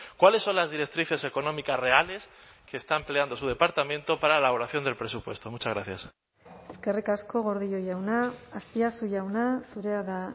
cuáles son las directrices económicas reales que está empleando su departamento para la elaboración del presupuesto muchas gracias eskerrik asko gordillo jauna azpiazu jauna zurea da